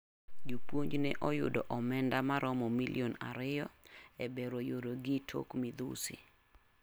Jopunj ne oyudo omenda maromo milion ariyo e bero yire gi tok midhusi.